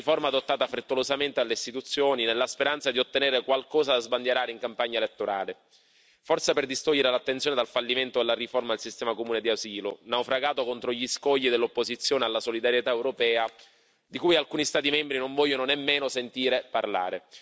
Una riforma adottata frettolosamente dalle istituzioni, nella speranza di ottenere qualcosa da sbandierare in campagna elettorale, forse per distogliere l'attenzione dal fallimento della riforma del sistema comune di asilo, naufragato contro gli scogli dell'opposizione alla solidarietà europea, di cui alcuni Stati membri non vogliono nemmeno sentire parlare.